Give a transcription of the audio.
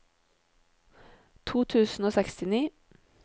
to tusen og sekstini